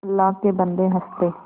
अल्लाह के बन्दे हंस दे